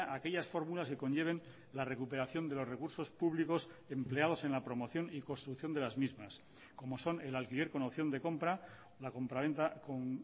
a aquellas fórmulas que conlleven la recuperación de los recursos públicos empleados en la promoción y construcción de las mismas como son el alquiler con opción de compra la compraventa con